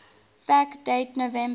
fact date november